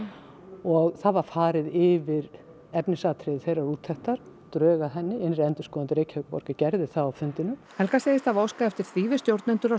og það var farið yfir efnisatriði þeirrar úttektar drög að henni innri endurskoðandi Reykjavíkurborgar gerði það á fundinum helga segir hafa óskað eftir því við stjórnendur og